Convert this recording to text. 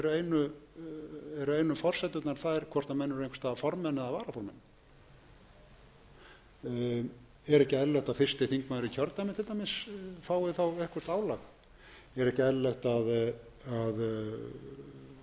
forsendurnar þær hvort menn eru einhvers staðar formenn eða varaformenn er ekki eðlilegt að fyrsti þingmaður í kjördæmi til dæmis fái þá eitthvert álag er ekki eðlilegt að